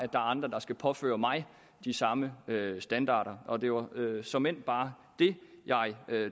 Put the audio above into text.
er andre der skal påføre mig de samme standarder og det var såmænd bare det jeg